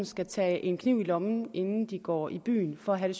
skal tage en kniv i lommen inden de går i byen for at have